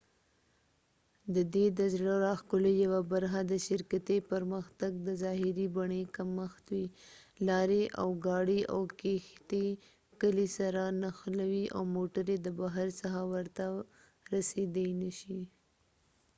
ددې د زړه راښکلو یوه برخه د شرکتي پرمختګ د ظاهري بڼې کمښت دي لارې اورګاړي او کیښتۍ کلي سره نښلوي او موټرې د بهر څخه ورته رسیدای نشي